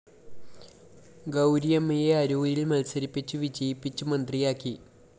ഗൗരിയമ്മയെ അരൂരില്‍ മത്സരിപ്പിച്ചു വിജയിപ്പിച്ചു മന്ത്രിയാക്കി